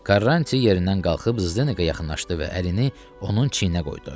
Karanti yerindən qalxıb Zdenekə yaxınlaşdı və əlini onun çiyninə qoydu.